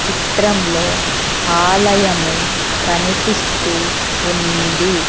చిత్రంలో ఆలయము కనిపిస్తూ ఉంది .